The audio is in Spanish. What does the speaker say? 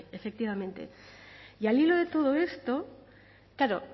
esta ley efectivamente y al hilo de todo esto claro